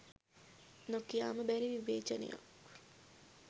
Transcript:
නොකියාම බැරි විවේචනයක්